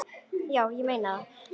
Já, ég meina það.